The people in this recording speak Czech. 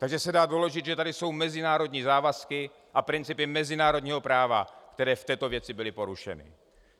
Takže se dá doložit, že tady jsou mezinárodní závazky a principy mezinárodního práva, které v této věci byly porušeny.